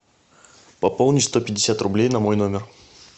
пополни сто пятьдесят рублей на мой номер